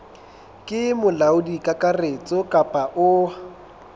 ke molaodi kakaretso kapa o